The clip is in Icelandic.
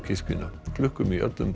kirkjuna klukkum í öllum